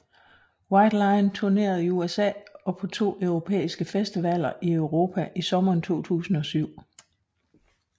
White Lion turnerede i USA og på to europæriske festivaler i Europa i sommeren 2007